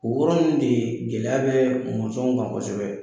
O yɔrɔ in de gɛlɛya bɛ mɔnsɔn kan kosɛbɛ.